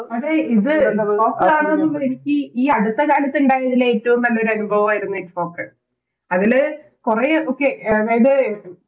അതെ ഇത് ITFOK ആണ് എനിക്ക് ഈയടുത്തകാലത്ത് ഇണ്ടായതിൽ ഏറ്റോം നല്ലൊരു അനുഭവായിരുന്നു ITFOK അതില് കൊറേ ഒക്കെ അതായത്